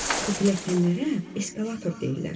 Bu pilləkənlərə eskalator deyirlər.